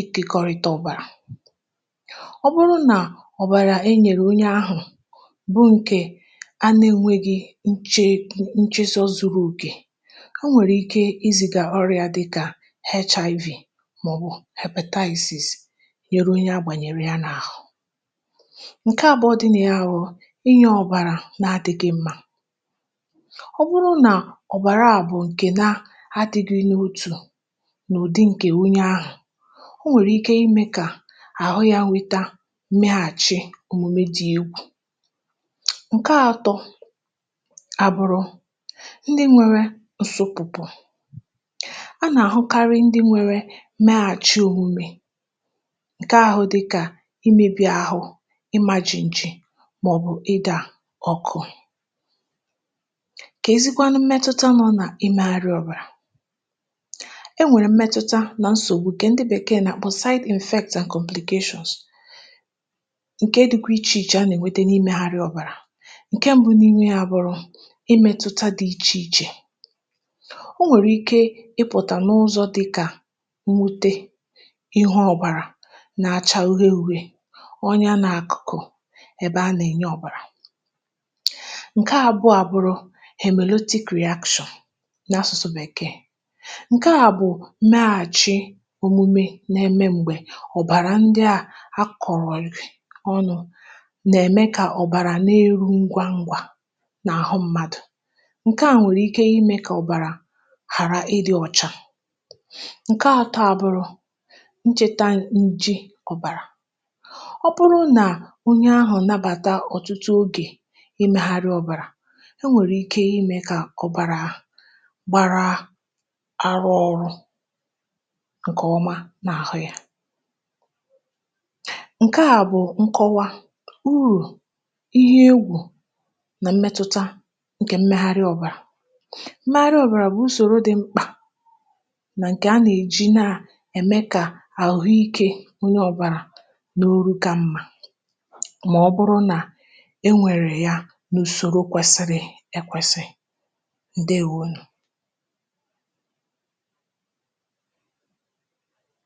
ikȧkọrịta ọ̀bàrà um Ọ bụrụ nà ọ̀bàrà e nyèrè onye ahụ̇, bụrụ ǹkẹ̀ anȧ enwėghi̇ nchẹ nchẹsọ zuru òkè. A nwèrè ike izì gà ọrụ ya, dị kà HIV, màọbụ̀ repètazis, nyèrè onye agbànyèrè ya... N’àhụ ǹkẹ̀ àbụọ dị ya bụ̀ inye ọ̀bàrà nà-adị gị̇ mmȧ. Ọ bụrụ nà ọ̀bàrà àbụ̀ ǹkẹ̀ um nà adịghị n’otù, n’ụ̀dị ǹkẹ̀, onye ahụ̀ o nwèrè ike ime, kà àhụ ya nweta mmeghàchi òmùmè, dị egwù. Ǹkè atọ̇ àbụrụ ndị nwere ǹsòpụ̀pụ̀ a nà-àhụkarị, ndị nwere meghàchi òmume, ǹkè ahụ̀ dịkà imėbì ahụ̀, imajì ǹjì, màọ̀bụ̀ ịdà ọ̀kụ, kà ezigbo anụ. Mmetụta nọ nà imègharị ọ̀bàrà e nwèrè, mmetụta nà nsògbu kà ndị bèkeè nà kpọ̀saịtị̀ efektà and complegashụls. um Ǹkè edugu ichè ichè a nà-ènwete. Ǹke mbu n’ime ya bụ̀rụ̀ imètụta dị ichèichè; o nwèrè ike ịpụ̀tà n’ụzọ̇ dịkà nwute ihu ọ̀bàrà nà-àchà uhè uhè, onye anà akụ̀kụ̀ ebe anà-ènye ọ̀bàrà. Ǹke àbụọ abụrụ èmeloti production n’asụ̀sụ̀ bèkee, ǹke à bụ̀ mee àchị um òmume nà-eme m̀gbè ọ̀bàrà. Ndị à a kọ̀rọ̀ ọnụ̇ n’àhụ mmadụ̀... Ǹkè a nwèrè ike imė kà ọ̀bàrà hàrà ịdị̇ ọ̀cha. Ǹkè atọ à bụrụ̇ nchèta nji ọ̀bàrà. Ọ bụrụ nà onye ahụ̀ nabàta ọ̀tụtụ ogè imeghari ọ̀bàrà, um e nwèrè ike imė kà ọ̀bàrà gbàra arụ ọ̀rụ, ǹkè ọma n’àhụ ya. Mmetụta ǹkè mmegharị ọ̀bàrà, mmegharị ọ̀bàrà bụ̀ usòro dị mkpà nà ǹkè a nà-èji nàrà ème, kà àhụhụike onye ọ̀bàrà n’oru ga mmȧ. um Mà ọ bụrụ nà e nwèrè ya n’ùsòrò kwesịrị.. ịkwẹ̀sị. Ǹdeewo nù.